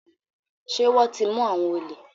Ṣé wọ́n ti mú àwọn olè?